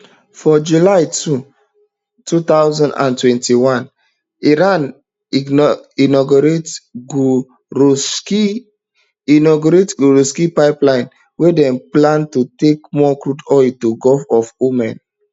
for july two thousand and twenty-one iran inaugurate gorehjask inaugurate gorehjask pipeline wey dem plan to take move crude oil to gulf of oman